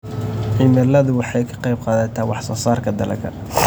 Cimiladu waxay ka qayb qaadataa wax soo saarka dalagga.